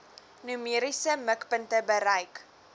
numeriese mikpunte bereik